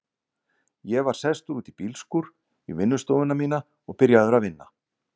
Ég var sestur út í bílskúr, í vinnustofuna mína, og byrjaður að vinna.